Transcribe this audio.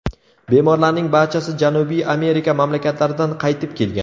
Bemorlarning barchasi Janubiy Amerika mamlakatlaridan qaytib kelgan.